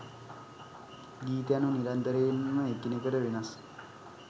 ගීත යනු නිරන්තරයෙන්ම එකිනෙකට වෙනස්